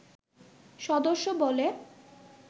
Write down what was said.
সদস্য বলে